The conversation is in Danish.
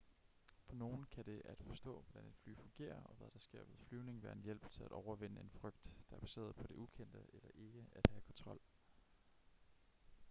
for nogle kan det at forstå hvordan et fly fungerer og hvad der sker ved flyvning være en hjælp til at overvinde en frygt der er baseret på det ukendte eller ikke at have kontrol